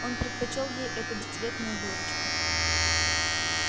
он предпочёл ей эту бесцветную дурочку